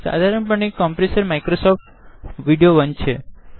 સાધારણ પણે કોમ્પ્રેસર એ માઇક્રોસોફ્ટ વીડિયો 1છે